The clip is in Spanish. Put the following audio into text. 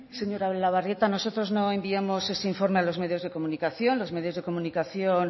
señora etxebarrieta nosotros no enviamos ese informe a los medios de comunicación los medios de comunicación